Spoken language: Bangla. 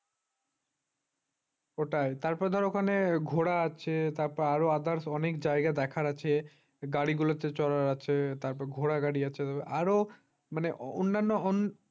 ওটাই তারপর ধর ওখানে ঘোরা আছে তারপর others অনেক জায়গা দেখার আছে গাড়িগুলোতে চলার আছে ঘোড়া গাড়ি আছে আরো অন্যান্য অন্য